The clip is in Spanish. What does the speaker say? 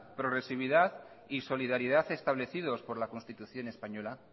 progresividad y solidaridad establecidos por la constitución española